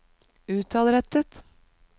utadrettet